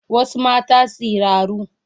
Wasu mata siraru